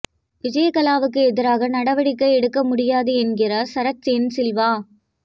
விஜயகலாவுக்கு எதிராக நடவடிக்கை எடுக்க முடியாது என்கிறார் சரத் என் சில்வா